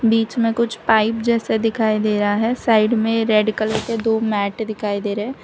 बीच में कुछ पाइप जैसा दिखाई दे रहा है साइड में रेड कलर के दो मैट दिखाई दे रहे--